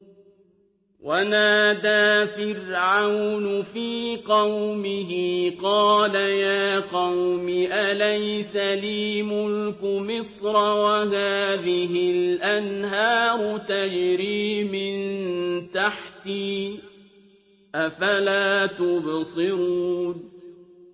وَنَادَىٰ فِرْعَوْنُ فِي قَوْمِهِ قَالَ يَا قَوْمِ أَلَيْسَ لِي مُلْكُ مِصْرَ وَهَٰذِهِ الْأَنْهَارُ تَجْرِي مِن تَحْتِي ۖ أَفَلَا تُبْصِرُونَ